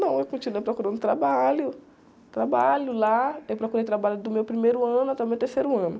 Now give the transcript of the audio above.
Não, eu continuei procurando trabalho, trabalho lá, eu procurei trabalho do meu primeiro ano até o meu terceiro ano.